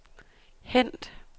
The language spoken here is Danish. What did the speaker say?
hent